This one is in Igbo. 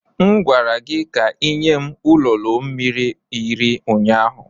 M gwara gị ka ị nye m ololo mmiri iri ụnyaahụ.